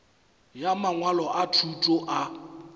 ya mangwalo a thuto a